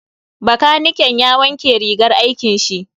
Bakaniken ya wanke rigar aikin shi.